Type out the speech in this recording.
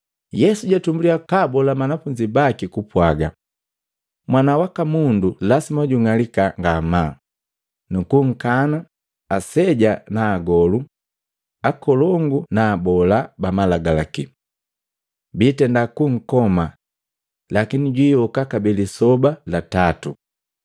Yesu jatumbulya kabola banafunzi baki kupwaga, “Mwana waka Mundu lasima jung'alika ngamaa nukunka aseja na agolu akolongu na abola bamalagalaki. Biitenda kunkoma lakini jwiyoka kabee lisoba lya tatu.”